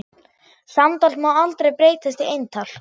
Samtal má aldrei breytast í eintal.